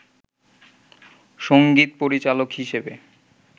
সংগীত পরিচালক হিসেবে